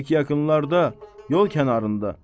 Pək yaxınlarda, yol kənarında.